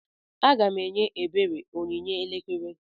Aga m enye ebere onyinye elekere.